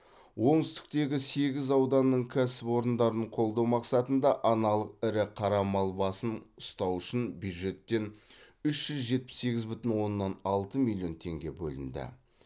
оңтүстіктегі сегіз ауданның кәсіпорындарын қолдау мақсатында аналық ірі қара мал басын ұстау үшін бюджеттен үш жүз жетпіс сегіз бүтін оннан алты миллион теңге бөлінді